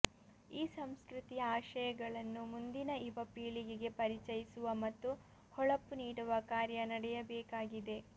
ಈ ಸಂಸ್ಕೃತಿಯ ಆಶಯಗಳನ್ನು ಮುಂದಿನ ಯುವ ಪೀಳಿಗೆಗೆ ಪರಿಚಯಿಸುವ ಮತ್ತು ಹೊಳಪು ನೀಡುವ ಕಾರ್ಯ ನಡೆಯಬೇಕಾಗಿದೆ